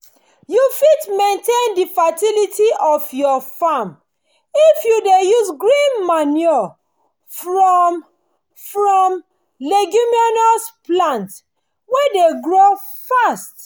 you fit maintain the fertility of your farm if you dey use green manure from from leguminous plants wey dey grow fast